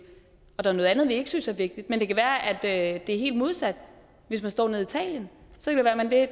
og der noget andet vi ikke synes er vigtigt men det kan være at det er helt modsat hvis man står nede i italien